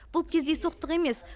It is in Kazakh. бұл кездейсоқтық емес